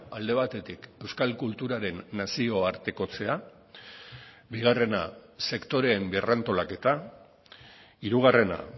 alde batetik euskal kulturaren nazioartekotzea bigarrena sektoreen berrantolaketa hirugarrena